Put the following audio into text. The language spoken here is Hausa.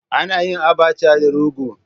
Ana yin Abacha da Rogo